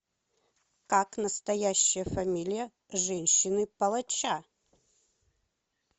как настоящая фамилия женщины палача